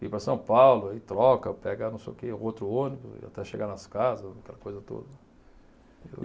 Vim para São Paulo, aí troca, pega não sei o que, outro ônibus, até chegar nas casas, aquela coisa toda.